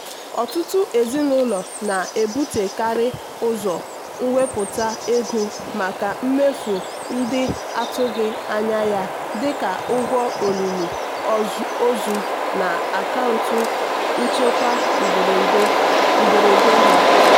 ọtụtụ ezinụlọ na-ebutekarị ụzọ wepụta ego maka mmefu ndị atụghị anya ya dịka ụgwọ olili ozu na akaụntụ nchekwa mberede ha.